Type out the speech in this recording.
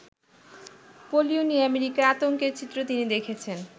Polio নিয়ে আমেরিকায় আতঙ্কের চিত্র তিনি দেখেছেন।